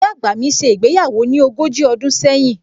Ìyá àgbà mi ṣe ìgbéyàwó ní ogójì ọdún sẹ́yìn